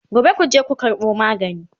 Gobe kuje ku karɓo magani!